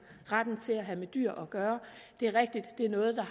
retten til at have dyr at gøre det er rigtigt at det er noget der